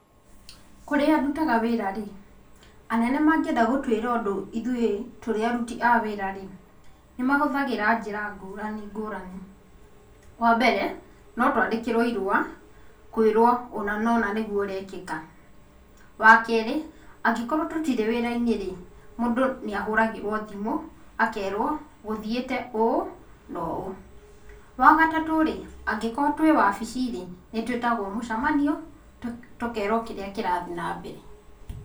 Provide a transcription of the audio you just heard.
Kũrĩa ndutaga wĩra-rĩ, anene mangĩenda gũtũĩra ũndũ ithuĩ tũrĩ aruti a wĩra-ri, nĩ mahũthagĩra njĩra ngũrani ngũrani. Wa mbere, no twandĩkĩrwo irũa, kũirwo ũna na ũna nĩgũo ũrekĩka. Wa kerĩ, angĩkorwo tũtirĩ wĩra-inĩrĩ, mũndũ nĩ ahũragĩrwo thimũ, akerwo gũthiĩte ũũ na ũũ. Wa gatatũ-rĩ, angĩkorwo twĩ wabici-rĩ, nĩtwĩtagwo mũcamanio tũkerwo kĩrĩa kĩrathiĩ na mbere.